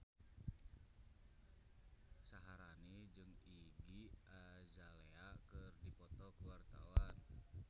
Syaharani jeung Iggy Azalea keur dipoto ku wartawan